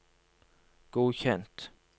godkjent